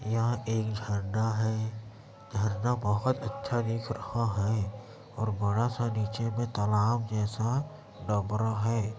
यहां एक झरना है झरना बहुत अच्छा दिख रहा है और बड़ा सा नीचे मे तालाब जैसा डबरा है।